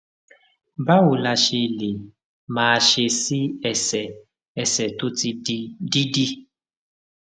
báwo la ṣe lè máa ṣe sí ẹsè ẹsè tó ti di dídì